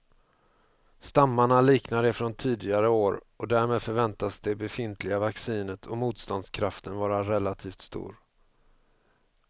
Stammarna liknar de från tidigare år och därmed förväntas det befintliga vaccinet och motståndskraften vara relativt stor.